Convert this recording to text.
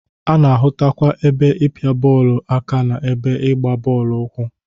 A na-ahụtakwa ebe ịpịa bọọlụ aka na ebe ịgba bọọlụ ụkwụ.